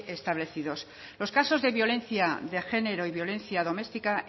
establecidos los casos de violencia de género y violencia doméstica